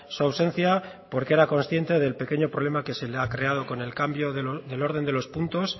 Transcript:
su ausencia porque era consciente del pequeño problema que se le ha creado con el cambio del orden de los puntos